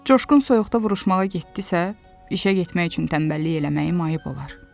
Coşqun soyuqda vuruşmağa getdisə, işə getmək üçün tənbəllik eləməyim ayıb olar.